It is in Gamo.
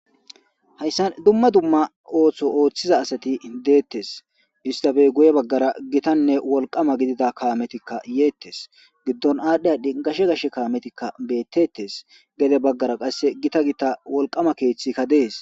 hayssa dumma dumma ooththo ooththiza asati deettes istafey guye baggara gitanne wolqama gidida kaametikka yeettes giddon aadhdhe adhi gashe gashe kaametikka beettettes gede baggara qasse gita gita wolqama keeththikka dees